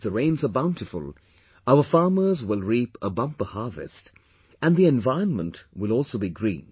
If the rainsare bountiful, our farmers will reap a bumper harvest and the environment will also be green